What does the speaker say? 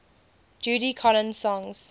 judy collins songs